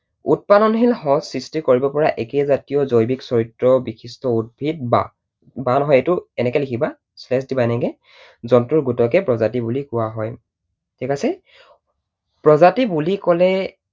উৎপাদনশীল সঁচ সৃষ্টি কৰিব পৰা একে জাতীয় জৈৱিক চৰিত্ৰ বিশিষ্ট উদ্ভিদ বা, বা নহয় এইটো এনেকৈ লিখিবা space দিবা এনেকৈ, জন্তুৰ গোটকে প্ৰজাতি বুলি কোৱা হয়। ঠিক আছে? প্ৰজাতি বুলি কলে